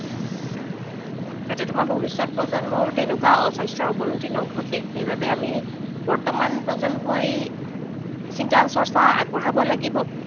যাতে তোমাৰ ভৱিষ্যত প্ৰজন্মৰ তেনেকুৱা স্বাস্থ্যৰ অৱনতি ঘটে, সেইবাবে আমি বৰ্তমান প্ৰজন্মই চিন্তা চৰ্চা আগবঢ়াব লাগিব।